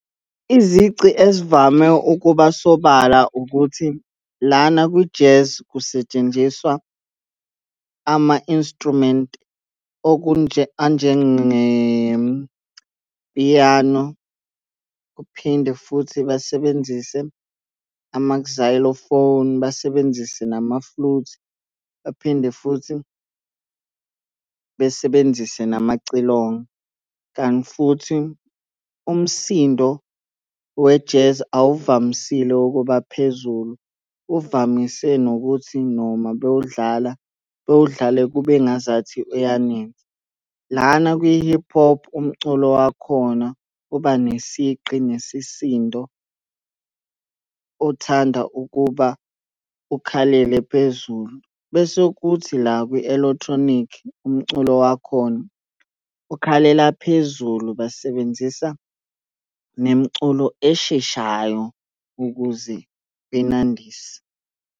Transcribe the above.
Izici ezivame ukuba sobala ukuthi, lana kwi-jazz kusetshenziswa ama-instrument anjengepiyano. Kuphinde futhi basebenzise basebenzise nama-flute. Baphinde futhi besebenzise namacilongo, kanti futhi umsindo we-jazz awuvamisile ukuba phezulu. Uvamise nokuthi noma bewudlala bewudlale kube ngazathi uyanensa. Lana kwi-hip hop, umculo wakhona uba nesigqi nesisindo, uthanda ukuba ukhalele phezulu. Bese kuthi la kwi-eletronic, umculo wakhona ukhalela phezulu, basebenzisa nemiculo esheshayo ukuze benandise.